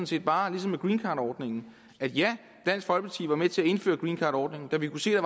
set bare ligesom med greencardordningen at ja dansk folkeparti var med til at indføre greencardordningen da vi kunne se at